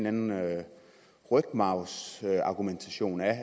anden rygmarvsargumentation af